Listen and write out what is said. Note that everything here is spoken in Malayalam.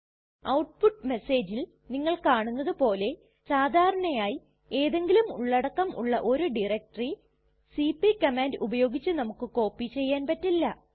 ഔട്പുട്ട് മെസ്സേജിൽ നിങ്ങൾ കാണുന്നതു പോലെ സാധാരണയായി എന്തെങ്കിലും ഉള്ളടക്കം ഉള്ള ഒരു ഡയറക്ടറി സിപി കമാൻഡ് ഉപയോഗിച്ച് നമുക്ക് കോപ്പി ചെയ്യാൻ പറ്റില്ല